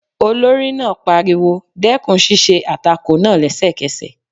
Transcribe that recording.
Olórí náà pariwo, dẹ́kun ṣíṣe àtakò náà lẹ́sẹ̀kẹsẹ̀